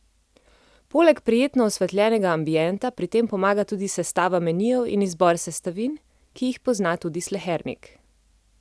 Poleg prijetno osvetljenega ambienta pri tem pomaga tudi sestava menijev in izbor sestavin, ki jih pozna tudi slehernik.